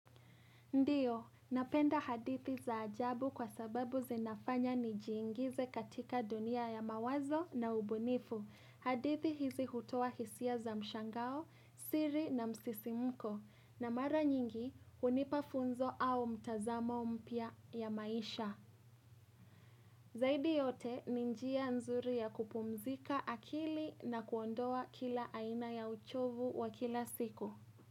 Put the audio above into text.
Ndiyo, napenda hadithi za ajabu kwa sababu zinafanya nijiingize katika dunia ya mawazo na ubunifu. Hadithi hizi hutoa hisia za mshangao, siri na msisimuko. Na mara nyingi, hunipa funzo au mtazamo mpya ya maisha. Zaidi yote, ni njia nzuri ya kupumzika akili na kuondoa kila aina ya uchovu wa kila siku.